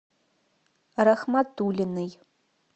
рахматуллиной